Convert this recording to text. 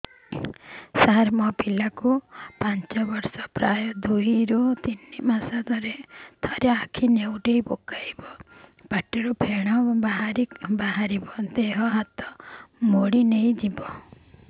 ସାର ମୋ ପିଲା କୁ ପାଞ୍ଚ ବର୍ଷ ପ୍ରାୟ ଦୁଇରୁ ତିନି ମାସ ରେ ଥରେ ଆଖି ନେଉଟି ପକାଇବ ପାଟିରୁ ଫେଣ ବାହାରିବ ଦେହ ହାତ ମୋଡି ନେଇଯିବ